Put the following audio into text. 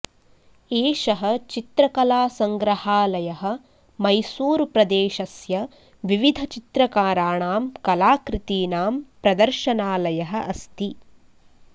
एषः चित्रकला सङ्ग्रहालयः मैसूरुप्रदेशस्य विविध चित्रकाराणां कलाकृतीनाम् प्रदर्शनालयः अस्ति